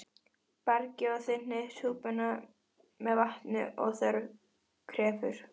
Bragðið og þynnið súpuna með vatni ef þörf krefur.